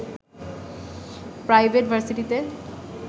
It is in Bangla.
প্রাইভেট ভার্সিটিতে